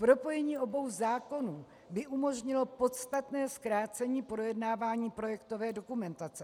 Propojení obou zákonů by umožnilo podstatné zkrácení projednávání projektové dokumentace.